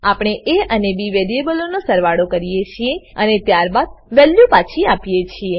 આપણે એ અને બી વેરીએબલોનો સરવાળો કરીએ છીએ અને ત્યારબાદ વેલ્યુ પાછી આપીએ છીએ